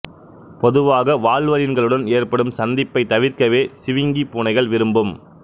பொதுவாக வால்வரின்களுடன் ஏற்படும் சந்திப்பை தவிர்க்கவே சிவிங்கி பூனைகள் விரும்பும்